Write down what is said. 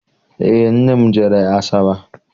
Eé, nne m jere Asaba.